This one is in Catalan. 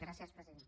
gràcies presidenta